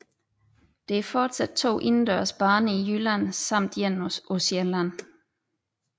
Der er fortsat to indendørs baner i Jylland samt en på Sjælland